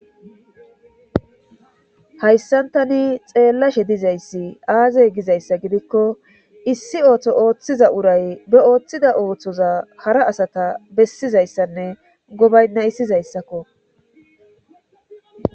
Hayssan tani xeelashe dizayssi aaze gizayssa gidikko issi ooso oothiza uray ba oothiza oosoza hara asa besizayssanne gobaynhaysizayssakko.